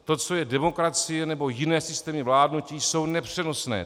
To, co je demokracie nebo jiné systémy vládnutí, je nepřenosné.